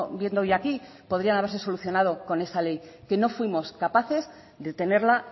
viendo hoy aquí podrían haberse solucionado con esa ley que no fuimos capaces de tenerla